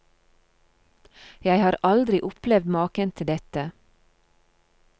Jeg har aldri opplevd maken til dette.